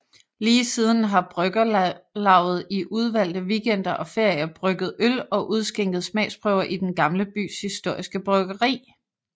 Lige siden har bryggerlavet i udvalgte weekender og ferier brygget øl og udskænket smagsprøver i Den Gamle Bys historiske bryggeri